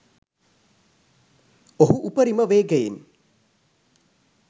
ඔහු උපරිම වේගයෙන්